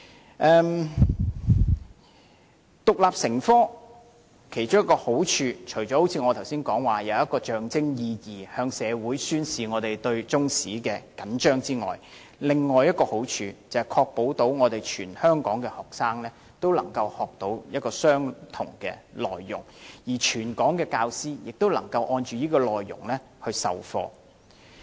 規定中史獨立成科的其中一個好處，除了我剛才提及的象徵意義，向社會宣示我們對中史着緊外，另一個好處是確保全港學生均能學習相同的內容，而全港教師也能按這內容授課。